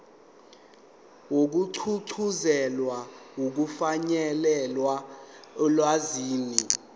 wokugqugquzela ukufinyelela olwazini